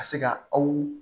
Ka se ka aw